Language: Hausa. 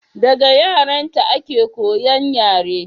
daga yaranta a ke koyan yare